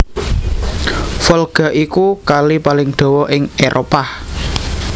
Volga iku Kali paling dawa ing Éropah